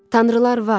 Tanrılar var.